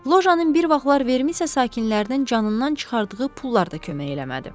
Lojanın bir vaxtlar Vermisa sakinlərinin canından çıxardığı pullar da kömək eləmədi.